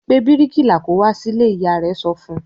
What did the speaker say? "Pe bíríkìlà kí ó wá sílé!" Ìyá rẹ̀ sọ fún un.